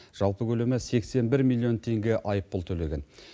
жалпы көлемі сексен бір миллион теңге айыппұл төлеген